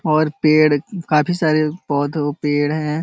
और पेड़ काफी सारे पौधों-पेड़ हैं।